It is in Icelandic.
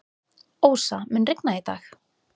Ósa, mun rigna í dag?